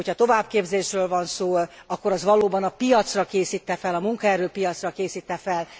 Hogyha továbbképzésről van szó, akkor az valóban a piacra készít e fel, a munkaerőpiacra készít e fel.